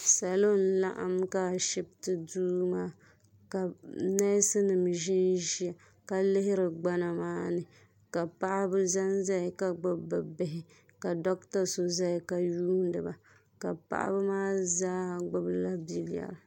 Salo n laɣim ashipti duu maa ka neesi nima ʒinʒia ka lihira gbana maani ka paɣaba zanzaya ka gbibi bɛ bihi ka doɣata zaya ka yuuni ba ka paɣaba maa zaaha gbibi la bileri.